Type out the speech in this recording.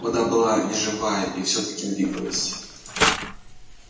вода была неживая и всё-таки двигалась